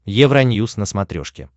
евроньюс на смотрешке